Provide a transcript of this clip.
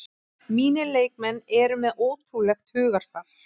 Mínir leikmenn eru með ótrúlegt hugarfar